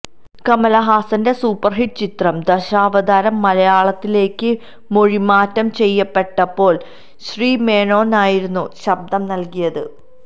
കമലഹസന്റെ superhit ചിത്രം ദശാവതാരം മലയാളത്തിലേക്ക് മൊഴിമാറ്റം ചെയ്യപ്പെട്ടപ്പോൾ ശ്രീമേനോനായിരുന്നു ശബ്ദം നൽകിയത്